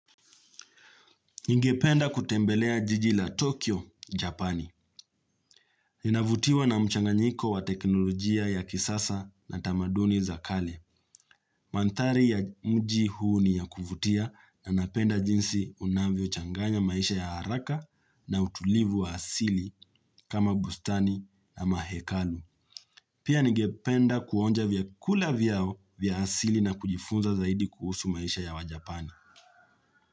Ningependa kutembelea jijila Tokyo, Japani. Navutiwa na mchanganyiko wa teknolojia ya kisasa na tamaduni za kale. Mandhari ya mji huu ni ya kuvutia na napenda jinsi unavyo changanya maisha ya haraka na utulivu wa asili kama bustani na mahekalu. Pia ningependa kuonja vya kula vyao vya asili na kujifunza zaidi kuhusu maisha ya wa Japani.